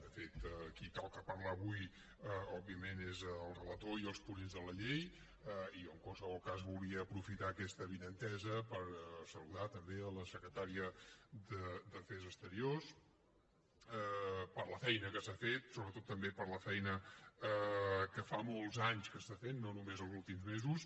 de fet a qui toca parlar avui òbviament és al relator i als ponents de la llei i jo en qualsevol cas volia aprofitar aquesta avinentesa per saludar també la secretària d’afers exteriors per la feina que s’ha fet sobretot també per la feina que fa molts anys que està fent no només els últims mesos